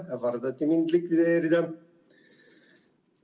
Mind ähvardati likvideerida.